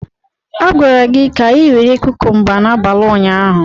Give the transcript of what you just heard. A gwara gị ka ị were kukumba n'abalị ụnyaahụ.